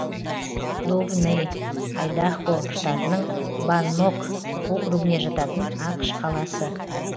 довнэй айдахо штатының баннок округіне жататын ақш қаласы